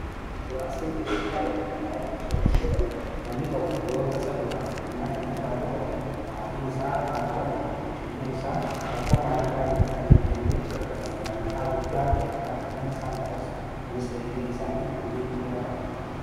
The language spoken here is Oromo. inshuraansin jireenyaa yk laa'if inshuraansi jedhamu namni tokko yootasa du'aan addunyaa kanirraa boqate ma'atiin isaa ,haatiwarraa fi ijoolliin isaa rakkoo maallaqaa keessa akka hingalleef gargaarsa maallaqaa guddaa ta'e akka argatan isaan taasisa kunis egeree isaaniif wabii guddaadha